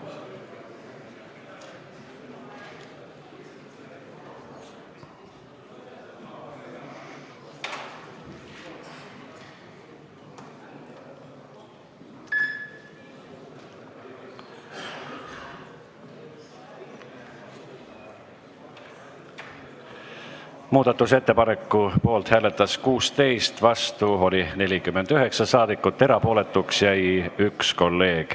Hääletustulemused Muudatusettepaneku poolt hääletas 16 ja vastu oli 49 saadikut, erapooletuks jäi 1 kolleeg.